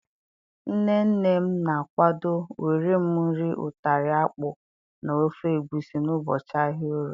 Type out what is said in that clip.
Nne nne m na-akwado wéré m nri utara akpu na ofe egbusi n'ụbọchị ahịa Orie.